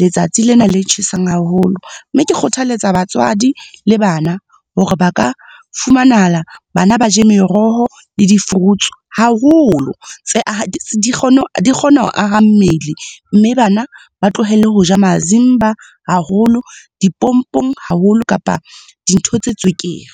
letsatsi lena le tjhesang haholo. Mme ke kgothaletsa batswadi le bana hore ba ka, fumanahala bana ba je meroho le di-fruits haholo tse di kgona ho aha mmele mme bana ba tlohele hoja mazimba haholo, dipompong haholo kapa dintho tse tswekere.